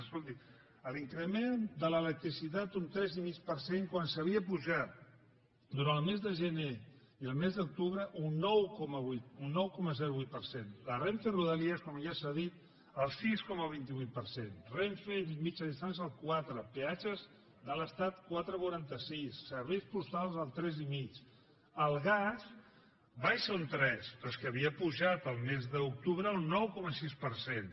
escolti l’increment de l’electricitat un tres coma cinc per cent quan s’havia apujat durant el mes de gener i el mes d’octubre un nou coma vuit per cent la renfe rodalies com ja s’ha dit el sis coma vint vuit per cent renfe mitjana distància el quatre peatges de l’estat quatre coma quaranta sis serveis postals el tres coma cinc el gas baixa un tres però és que havia pujat el mes d’octubre un nou coma sis per cent